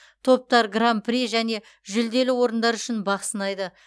топтар гран при және жүлделі орындар үшін бақ сынайды